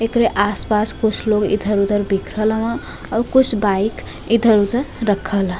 एकरे आस-पास कुछ लोग इधर-उधर बिखरल हवं औ कुस बाइक इधर-उधर रखल ह।